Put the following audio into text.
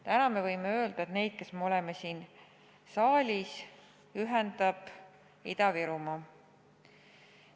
Täna võime öelda, et meid, kes me oleme siin saalis, ühendab Ida-Virumaa.